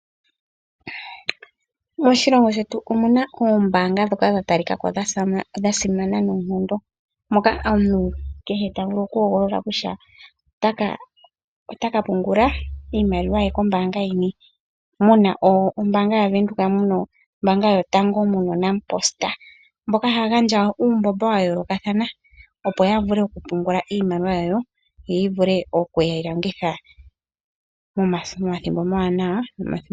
Moshilongo shetu omu na oombaanga ndhoka dha talika ko dha simana noonkondo, moka omuntu kehe ta vulu okuhogolola kutya ota ka pungula iimaliwa ye kombaanga yini, mu na ombaanga yaVenduka, mu na ombaanga yotango, mu na ombaanga yaNampost, mboka haya gandja uumbomba wa yoolokathana, opo ya vule okupungula iimaliwa yawo, yo ya vule oku yi longitha momathimbo omawanawa nomathimbo omawinayi.